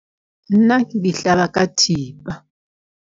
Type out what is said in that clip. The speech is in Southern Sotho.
Nna ke di hlaba ka thipa.